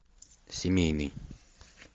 семейный